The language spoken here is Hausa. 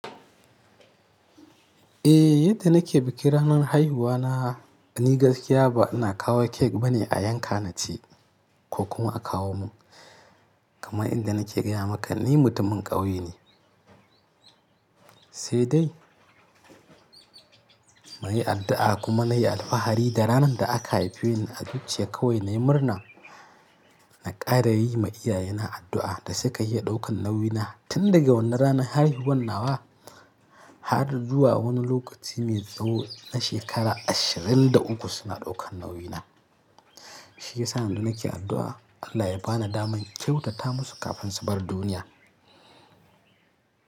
Eh, yadda nake bikin ranar haihuwana, ni gaskiya ba ina kawo cake bane a yanka na ci ko kuma a kawo mun. Kamar inda nake gaya maka ni mutumin ƙauye ne. Sai dai maye addu'a kuma nayi alfahari da ranar da aka haife ni a zuciya kawai na yi murna, na ƙara yi ma iyaye na addu'a da suka iya ɗaukan nauyi na tun daga wannan ranar haihuwar nawa har zuwa wani lokaci mai tsawo na shekara ashirin da uku suna ɗaukan nauyi na. Shiyasa yanda nake addu'a Allah ya bani daman kyautata musu kafin su bar duniya.